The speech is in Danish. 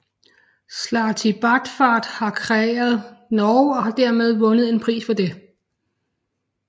Slartibartfast har kreeret Norge og har tilmed vundet en pris for det